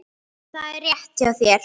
Það er rétt hjá þér.